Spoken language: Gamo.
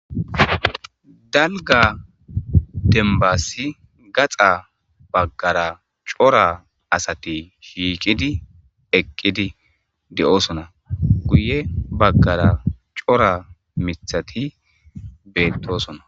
dalga dembassi gaxa baggara cora asati shiiqidi eqqidi de7osona guye baggara cora mithati beettosona